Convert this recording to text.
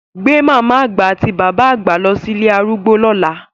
Gbé màmá àgbà àti bàbá àgbà lọ sí ilé arúgbó lọ́la!